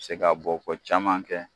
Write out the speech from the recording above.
Se ka bɔ ko caman kɛ